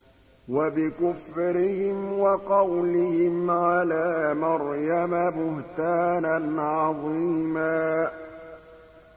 وَبِكُفْرِهِمْ وَقَوْلِهِمْ عَلَىٰ مَرْيَمَ بُهْتَانًا عَظِيمًا